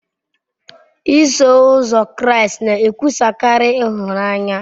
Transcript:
Iso Ụzọ Kraịst na-ekwusakarị ịhụnanya.